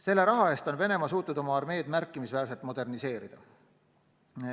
Selle raha eest on Venemaa suutnud oma armeed märkimisväärselt moderniseerida.